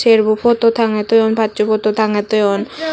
serbu photo tangge toyoun passu photo tangge toyoun.